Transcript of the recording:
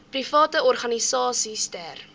private organisasies ter